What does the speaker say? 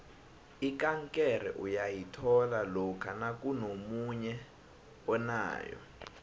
ikankere uyayithola lokha nakunomunye onayo